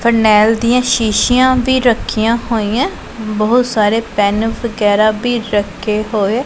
Phenyl ਦੀਆਂ ਸ਼ੀਸ਼ੀਆਂ ਵੀ ਰੱਖੀਆਂ ਹੋਈਐਂ ਬਹੁਤ ਸਾਰੇ ਪੇਨ ਵਗੈਰਾ ਭੀ ਰੱਖੇ ਹੋਏ।